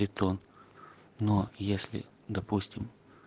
бетон но если допустим